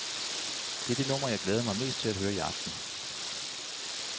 Det er det nummer, jeg glæder mig mest til at høre i aften.